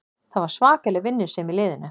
Það var svakaleg vinnusemi í liðinu